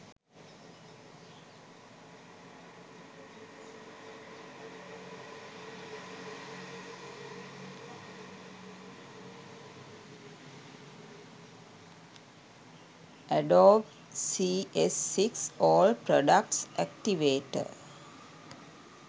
adobe cs6 all products activator